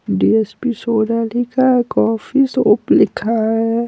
D S P soda लिखा है coffee shop लिखा है।